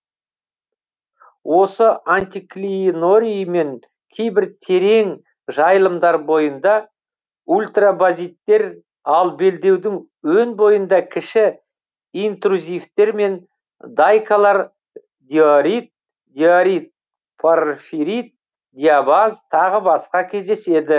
осы антиклинорий мен кейбір терең жайылымдар бойында ультрабазиттер ал белдеудің өн бойында кіші интрузивтер мен дайкалар диорит диорит порфирит диабаз тағы басқа кездеседі